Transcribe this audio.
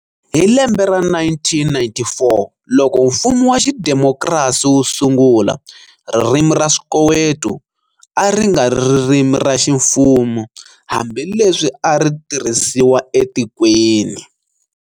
Hi lembe ra 1994 loko mfumo wa xidemokirasi wu sungula, Ririmi ra Swikoweto a ri nga ri ririmi ra ximfumo hambileswi a ri tirhisiwa etikweni.